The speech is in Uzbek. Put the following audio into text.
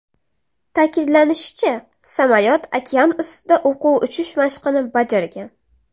Ta’kidlanishicha, samolyot okean ustida o‘quv uchish mashqini bajargan.